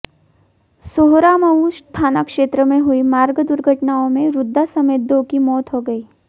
सोहरामऊ थानाक्षेत्र में हुई मार्ग दुर्घटनाओं में वृद्धा समेत दो की मौत हो गई